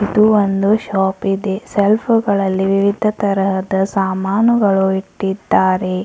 ಇದು ಒಂದು ಶಾಪ್ ಇದೆ ಶೆಲ್ಫು ಗಳಲ್ಲಿ ವಿವಿಧ ತರದ ಸಾಮಾನುಗಳು ಇಟ್ಟಿದ್ದಾರೆ.